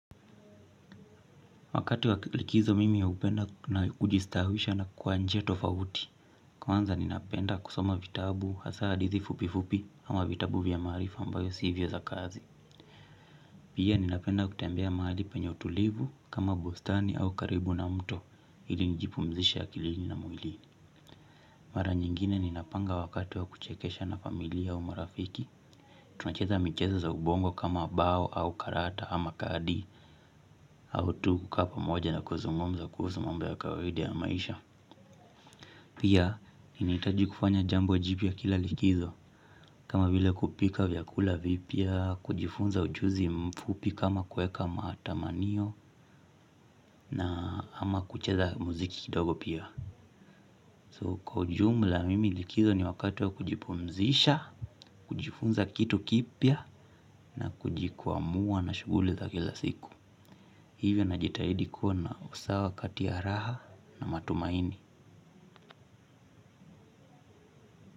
Wakati wa likizo mimi ya hupenda na kujistawisha na kwa njia tofauti. Kwanza ninapenda kusoma vitabu hasa hadithi fupifupi ama vitabu vya maarifa ambayo sivyo za kazi. Pia ninapenda kutembea mahali penye utulivu kama bustani au karibu na mto ili nijipumzishe akilini na mwili. Mara nyingine ninapanga wakati wa kuchekesha na familia au marafiki. Tunacheza michezo za ubongo kama bao au karata ama kadi. Au tu kukaa pamoja na kuzungumza kuhusu mambo ya kawaida ya maisha. Pia ninahitaji kufanya jambo jipya kila likizo kama vile kupika vyakula vipya kujifunza ujuzi mfupi kama kueka matamanio na ama kucheza muziki kidogo pia So kwa ujumla mimi likizo ni wakati wa kujipumzisha. Kujifunza kitu kipya na kujikuamua na shughuli za kila siku. Hivyo najitahidi kuwa na usawa kati ya raha na matumaini.